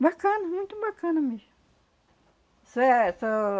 Bacana, muito bacana mesmo. Só é,